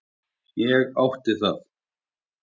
Ég átti það.